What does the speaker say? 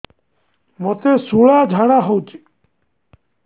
ମୋତେ ଶୂଳା ଝାଡ଼ା ହଉଚି